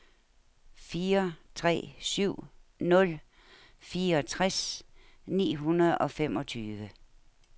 fire tre syv nul fireogtres ni hundrede og femogtyve